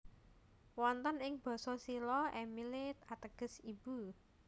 Wonten ing Basa Silla Emille ateges ibu